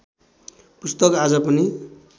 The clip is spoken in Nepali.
पुस्तक आज पनि